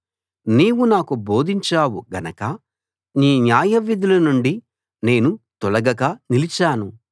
నీవు నాకు బోధించావు గనక నీ న్యాయవిధులనుండి నేను తొలగక నిలిచాను